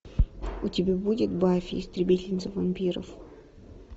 у тебя будет баффи истребительница вампиров